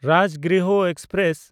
Rajgriha express